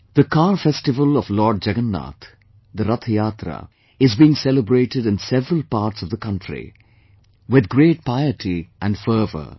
The Car festival of Lord Jagannath, the Rath Yatra, is being celebrated in several parts of the country with great piety and fervour